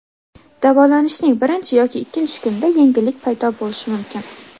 Davolanishning birinchi yoki ikkinchi kunida yengillik paydo bo‘lishi mumkin.